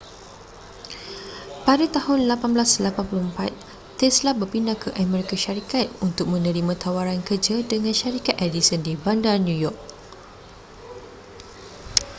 pada tahun 1884 tesla berpindah ke amerika syarikat untuk menerima tawaran kerja dengan syarikat edison di bandar new york